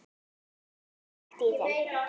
Síðan var kveikt í þeim.